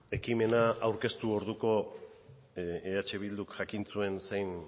ekimena aurkeztu orduko eh bilduk jakin zuen zein